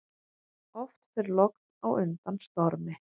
Oft fer logn á undan stormi.